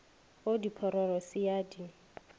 go diphororo se a di